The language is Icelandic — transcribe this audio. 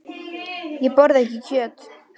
Ég borða ekki kjöt.